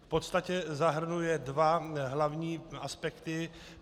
V podstatě zahrnuje dva hlavní aspekty.